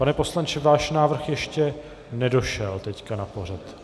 Pane poslanče, váš návrh ještě nedošel teď na pořad.